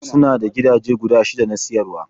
Suna da gidaje guda shida na siyarwa.